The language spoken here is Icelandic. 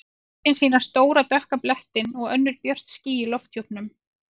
Myndin sýnir stóra dökka blettinn og önnur björt ský í lofthjúpnum.